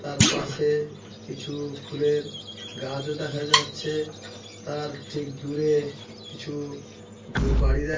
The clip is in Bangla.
তার পাশে কিছু ফুলের গাছও দেখা যাচ্ছে তার ঠিক দূরে কিছু ব বাড়ি দেখা--